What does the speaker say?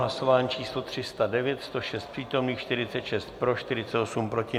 Hlasování číslo 309, 106 přítomných, 46 pro, 48 proti.